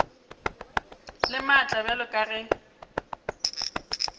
le maatla bjalo ka ge